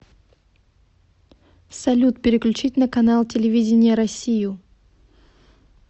салют переключить на канал телевидения россию